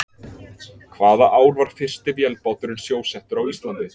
Hvaða ár var fyrsti vélbáturinn sjósettur á Íslandi?